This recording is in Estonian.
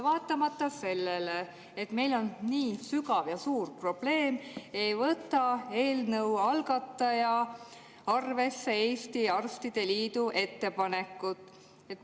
Vaatamata sellele, et meil on nii sügav ja suur probleem, ei võtnud eelnõu algataja arvesse Eesti Arstide Liidu ettepanekut.